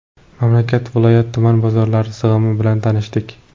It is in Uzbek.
Mamlakat, viloyat, tuman bozorlari sig‘imi bilan tanishdik.